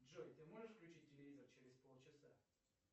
джой ты можешь включить телевизор через полчаса